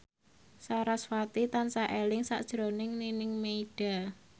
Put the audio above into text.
sarasvati tansah eling sakjroning Nining Meida